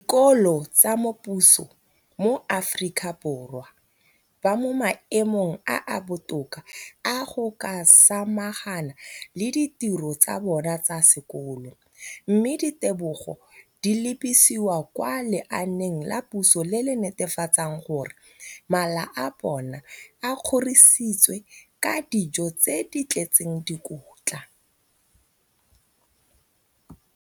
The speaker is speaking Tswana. dikolo tsa puso mo Aforika Borwa ba mo maemong a a botoka a go ka samagana le ditiro tsa bona tsa sekolo, mme ditebogo di lebisiwa kwa lenaaneng la puso le le netefatsang gore mala a bona a kgorisitswe ka dijo tse di tletseng dikotla.